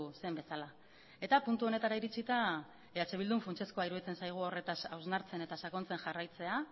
zen bezala eta puntu honetara iritsita eh bildun funtsezkoa iruditzen zaigu horretaz hausnartzen eta sakontzen jarraitzea